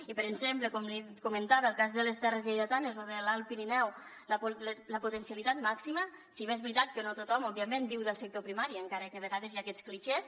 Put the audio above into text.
i per exemple com li comentava el cas de les terres lleidatanes o de l’alt pirineu la potencialitat màxima si bé és veritat que no tothom òbviament viu del sector primari encara que a vegades hi ha aquests clixés